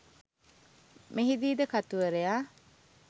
මෙහිදීද කතුවරයා